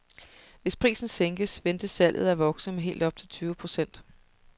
Hvis prisen sænkes, ventes salget af vokse med helt op til tyve procent.